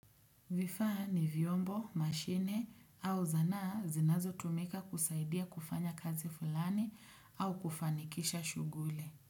Vifaa ni vyombo, mashine au zanaa zinazotumika kusaidia kufanya kazi fulani au kufanikisha shuguli.